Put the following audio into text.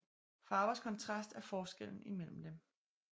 Farvers kontrast er forskellen imellem dem